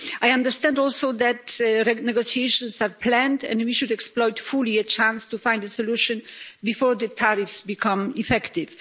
I understand also that negotiations are planned, and we should exploit fully a chance to find a solution before the tariffs become effective.